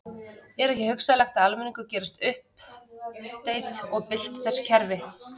Er ekki hugsanlegt að almenningur geri uppsteyt og bylti þessu kerfi?